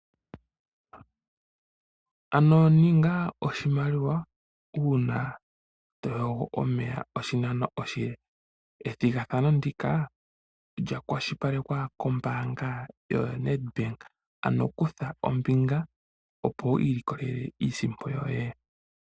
Ano ninga oshimaliwa uuna to yogo omeya oshinano oshile. Ethigathano ndika olya kwashilipalekwa kombaanga yoNedbank. Ano kutha ombinga opo wi iilikolele iisimpo yoye.